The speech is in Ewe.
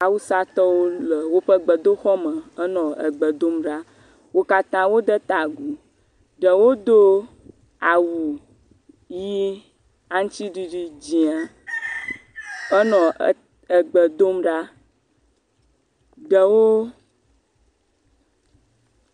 Awusatɔwo le woƒe gbedoxɔme henɔ gbe dom ɖa, wo katã wode ta agu, ɖewo do awu ʋɛ̃, aŋutiɖiɖi dzɛ̃a henɔ gbe dom ɖa, ɖewo…